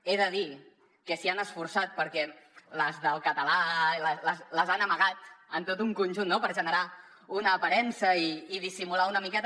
he de dir que s’hi han esforçat perquè les del català les han amagat en tot un conjunt per generar una aparença i dissimular una miqueta